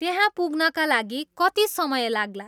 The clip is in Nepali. त्यहाँ पुग्नका लागि कति समय लाग्ला